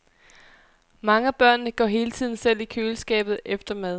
Mange af børnene går hele tiden selv i køleskabet efter mad.